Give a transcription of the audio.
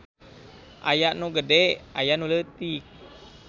Aya nu gede ayanu leutik.